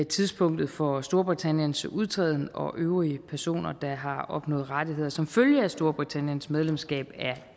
tidspunktet for storbritanniens udtræden og øvrige personer der har opnået rettigheder som følge af storbritanniens medlemskab af